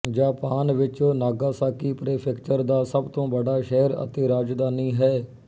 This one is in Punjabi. ਜਾਪਾਨ ਵਿੱਚ ਨਾਗਾਸਾਕੀ ਪ੍ਰੀਫ਼ੇਕਚਰ ਦਾ ਸਭ ਤੋਂ ਬੜਾ ਸ਼ਹਿਰ ਅਤੇ ਰਾਜਧਾਨੀ ਹੈ